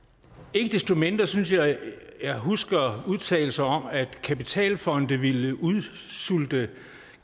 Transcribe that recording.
ikke desto mindre synes jeg at jeg husker udtalelser om at kapitalfonde ville udsulte